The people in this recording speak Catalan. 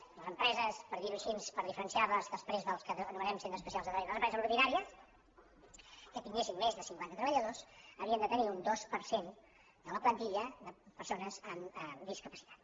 les empreses per dir·ho així per diferenciar·les després dels que anomenem centres especials de tre·ball les empreses ordinàries que tinguessin més de cinquanta treballadors havien de tenir un dos per cent de la plantilla de persones amb discapacitat